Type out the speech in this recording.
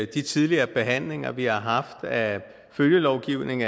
de tidligere behandlinger vi har haft af følgelovgivning